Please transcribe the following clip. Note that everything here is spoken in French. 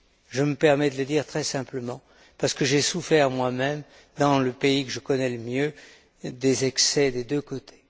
Je me permets de le dire très simplement, parce que j'ai moi même souffert, dans le pays que je connais le mieux, des excès des deux côtés.